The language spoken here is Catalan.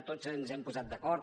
tots ens hem posat d’acord